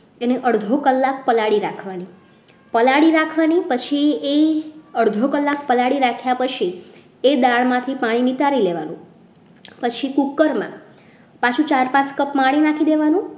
એને અડધો કલાક પલાળી રાખવાની પલાળી રાખવાની પછી એ અડધો કલાક પલાળી રાખ્યા પછી એ દાળમાંથી પાણી નિતારી લેવાનું પછી કુકરમાં પાછું ચાર cup પાણી નાખી દેવાનું